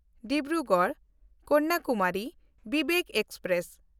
ᱰᱤᱵᱽᱨᱩᱜᱚᱲ–ᱠᱚᱱᱱᱟᱠᱩᱢᱟᱨᱤ Vivek express